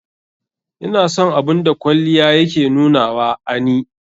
Ina son abun da kwalliya ya ke nunawa a ni.